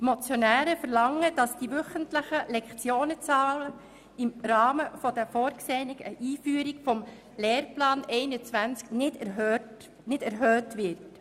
Die Motionäre verlangen, dass die wöchentlichen Lektionenzahlen im Rahmen der vorgesehenen Einführung des Lehrplans 21 nicht erhöht werden.